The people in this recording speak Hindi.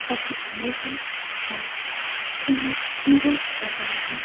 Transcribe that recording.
ऑफिस अंदर है और यहां मिरर लगा हुआ है।